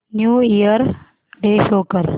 new year day show कर